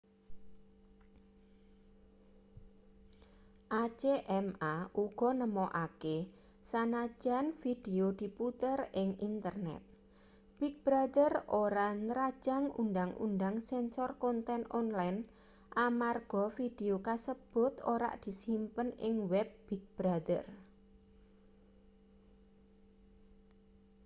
acma uga nemokake sanajan vidio diputer ing internet big brother ora nrajang undhang-undhang sensor konten online amarga vidio kasebut ora disimpen ing web big brother